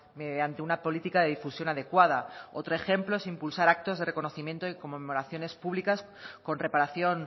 mediante una política de difusión adecuada otro ejemplo es impulsar actos de reconocimiento y conmemoraciones públicas con reparación